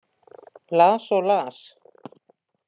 Las og las.